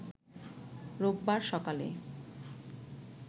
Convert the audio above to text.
রোববারসকালে